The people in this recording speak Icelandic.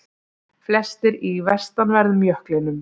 Flestir í vestanverðum jöklinum